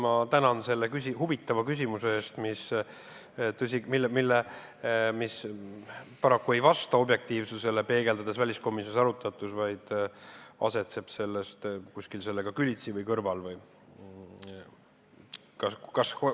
Ma tänan selle huvitava küsimuse eest, mis paraku väliskomisjonis arutatut peegeldades ei vasta objektiivsusele, vaid asetseb kuskil sellega külitsi või selle kõrval.